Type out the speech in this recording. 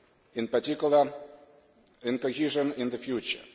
in particular in cohesion, in the future.